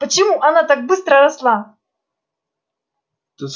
почему она так быстро росла